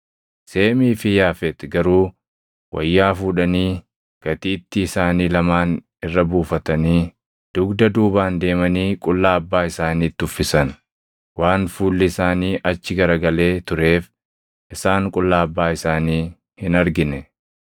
Seemii fi Yaafeti garuu wayyaa fuudhanii gatiittii isaanii lamaan irra buufatanii dugda duubaan deemanii qullaa abbaa isaaniitti uffisan. Waan fuulli isaanii achi garagalee tureef isaan qullaa abbaa isaanii hin argine.